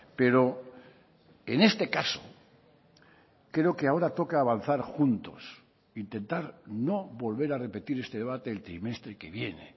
pero en este caso creo que ahora toca avanzar juntos intentar no volver a repetir este debate el trimestre que viene